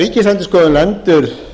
ríkisendurskoðun lendir